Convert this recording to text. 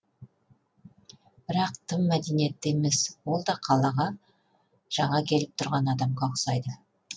бірақ тым мәдениетті емес ол да қалаға жана келіп тұрған адамға ұқсайды